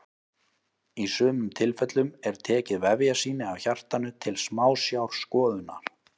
Í sumum tilfellum er tekið vefjasýni af hjartanu til smásjárskoðunar.